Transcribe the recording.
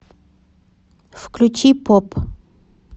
включи поп